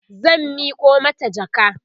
zan Miko mata jaka